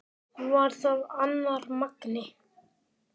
Var það annar Magni?